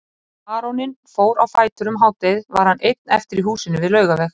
Þegar baróninn fór á fætur um hádegið var hann einn eftir í húsinu við Laugaveg.